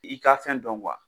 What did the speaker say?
I ka fɛn dɔn kuwa